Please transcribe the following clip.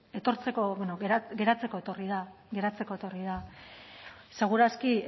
geratzeko etorri da seguraski